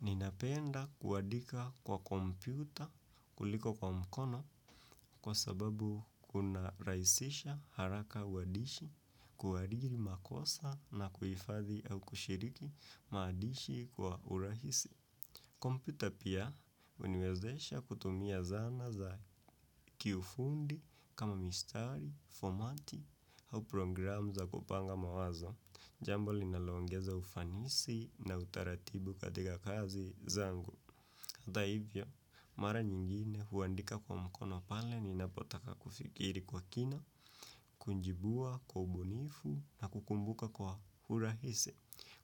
Ninapenda kuandika kwa kompyuta kuliko kwa mkono kwa sababu kunarahisisha haraka uandishi kuadiri makosa na kuhifadhi au kushiriki maadishi kwa urahisi. Kompyuta pia, huniwezesha kutumia zana za kiufundi, kama mistari, fomati, au programu za kupanga mawazo, jambo linalo ongeza ufanisi na utaratibu katika kazi zangu. Hata hivyo, mara nyingine huandika kwa mkono pale ni napotaka kufikiri kwa kina, kunjibua, kwa ubunifu na kukumbuka kwa hurahisi.